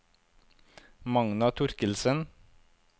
Magna Torkildsen